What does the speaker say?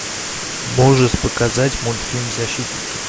можешь показать мультфильм защитники